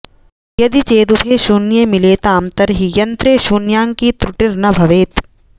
यदि चेदुभे शून्ये मिलेताम् तर्हि यन्त्रे शून्याङ्की त्रुटिर्न भवेत्